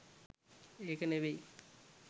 ඒක නෙවෙයි.